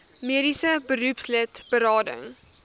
mediese beroepslid berading